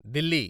Delhi